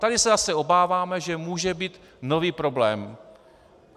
Tady se zase obáváme, že může být nový problém.